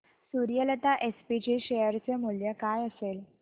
Suryalata SPG share चे मूल्य काय असेल